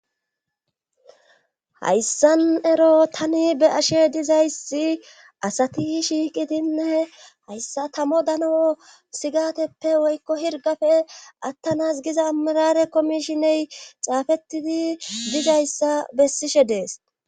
Hayssan ero tani be ashe dizayssi asati shiiqidinne hayssa tamo dano sigateppe woykko hirgafe attanas giza amirare komishiney caafettidi dizayssa bessishe dees.